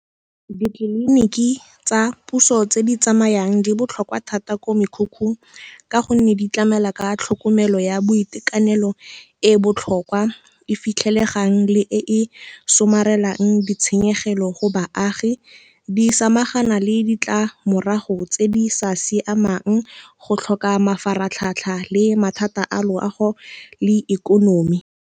Ditleliniki tsa puso tse di tsamayang di botlhokwa thata ko mekhukhung ka gonne di tlamela ka tlhokomelo ya boitekanelo e e botlhokwa, e fitlhelesegang le e somarelang ditshenyegelo go baagi, di samagana le ditlamorago tse di sa siamang go tlhoka mafaratlhatlha le mathata a loago le ikonomi.